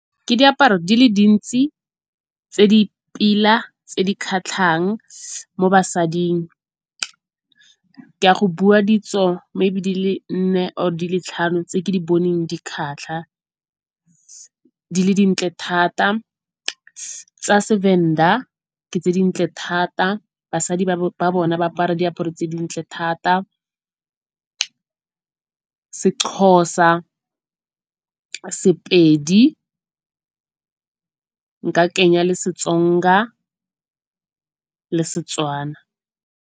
Ke diaparo di le dintsi tse di pila tse di kgatlhang mo basading. Ke a go bua ditso maybe di le nne or di le tlhano tse ke di boneng di kgatlha, di le dintle thata tsa Sevenda ke tse dintle thata basadi ba bona ba apara diaparo tse dintle thata. Sexhosa, Sepedi nka kenya le Setsonga le Setswana.